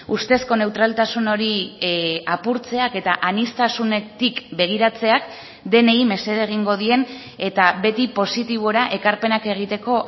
ustezko neutraltasun hori apurtzeak eta aniztasunetik begiratzeak denei mesede egingo dien eta beti positibora ekarpenak egiteko